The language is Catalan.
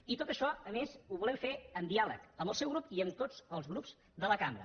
i tot això a més ho volem fer amb diàleg amb el seu grup i amb tots els grups de la cambra